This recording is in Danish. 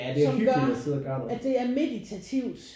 Som gør at det er meditativt